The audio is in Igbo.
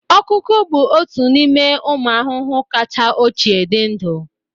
Ọkụkụ bụ otu n'ime ụmụ ahụhụ kacha ochie dị ndụ